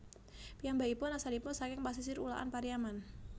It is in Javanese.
Piyambakipun asalipun saking pasisir Ulakan Pariaman